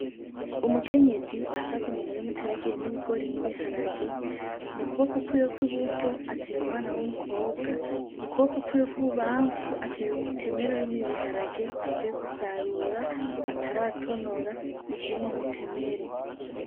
Umukenyezi ahagaze mu murima uteragiyemwo ibigori n'ibiharage mu kuboko kwiwe kwi buryo ateruye umwana w'umukobwa mu kuboko kwiwe kw'ibubanfu ateruye umutemere urimwo ibiharage avuye gusarura ataratonora bikiri mu mutemere.